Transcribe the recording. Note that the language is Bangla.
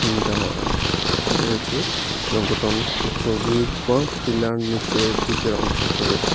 দেওয়ার রয়েছে সুরঙ্গটা অনেকটা গভীর পথ বা টিলার নীচের দিকের অংশ হবে।